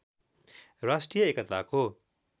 राष्ट्रिय एकताको